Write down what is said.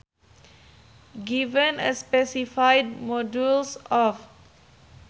Given a specified modulus of